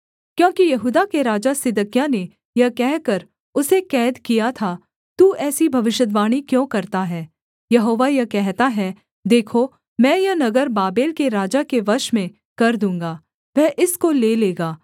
क्योंकि यहूदा के राजा सिदकिय्याह ने यह कहकर उसे कैद किया था तू ऐसी भविष्यद्वाणी क्यों करता है यहोवा यह कहता है देखो मैं यह नगर बाबेल के राजा के वश में कर दूँगा वह इसको ले लेगा